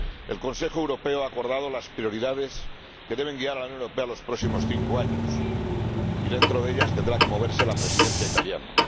El Consejo Europeo ha acordado las prioridades que deben guiar a la Unión Europea en los próximos cinco años, y dentro de ellas tendrá que moverse la Presidencia italiana.